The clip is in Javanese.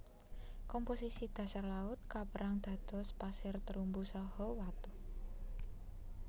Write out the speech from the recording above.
Komposisi dhasar laut kaperang dados pasir terumbu saha watu